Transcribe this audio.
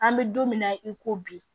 An bɛ don min na i ko bi